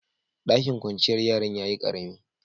Ɗakin kwanciyar yaran ya yi ƙaremi.